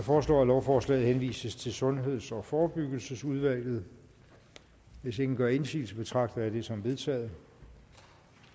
foreslår at lovforslaget henvises til sundheds og forebyggelsesudvalget hvis ingen gør indsigelse betragter jeg det som vedtaget